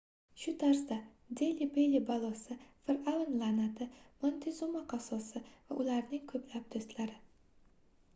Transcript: shu tarzda deli belli balosi firʼavn laʼnati montezuma qasosi va ularning koʻplab doʻstlari